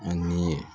Ani